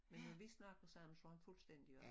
Men når vi snakker sammen slår han fuldstændig over